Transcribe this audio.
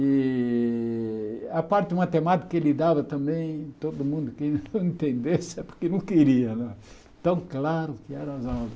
E a parte de matemática que ele dava também, todo mundo que não entendesse, é porque não queria né, tão claro que eram as aulas.